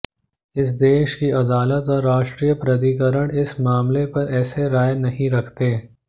इस देश की अदालत और राष्ट्रीय प्राधिकरण इस मामले पर ऐसी राय नहीं रखते